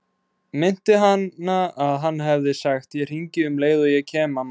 Minnti hana að hann hefði sagt: Ég hringi um leið og ég kem, mamma.